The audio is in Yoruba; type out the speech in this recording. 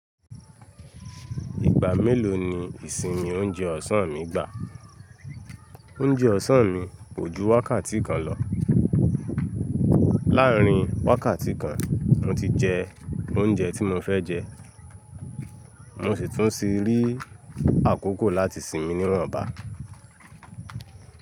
Ìgbà mélòó ni ìsinmi oúnjẹ ọ̀sán mi gbà? Oúnjẹ ọ̀sán mi kò ju wákàtí kan lọ. Láàárín wákàtí kan mo ti jẹ oúnjẹ tí mo fẹ́ jẹ, mo sì tún sì rí àkókò láti sinmi ní woǹbá.